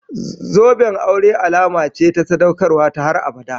Zoben aure alama ce ta sadaukarwa ta har abada.